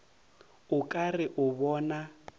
o ka re o bona